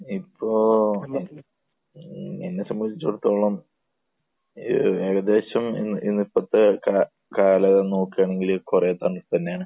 ഇപ്പോൾ എന്നെ സംബന്ധിച്ചിടത്തോളം ഏകദേശം ഇപ്പോഴത്തെയൊക്കെ കാലം നോക്കുകയാണെങ്കിൽ കുറെ തണുപ്പ് തന്നെയാണ്.